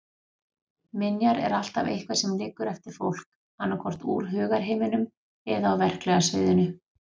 Minjar er alltaf eitthvað sem liggur eftir fólk, annaðhvort úr hugarheiminum eða á verklega sviðinu.